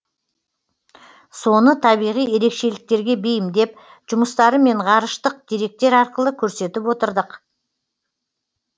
соны табиғи ерекшеліктерге бейімдеп жұмыстарымен ғарыштық деректер арқылы көрсетіп отырдық